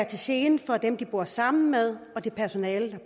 til gene for dem de bor sammen med og det personale der